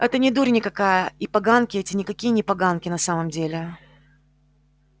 это не дурь никакая и поганки эти никакие не поганки на самом деле